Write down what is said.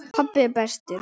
Pabbi er bestur.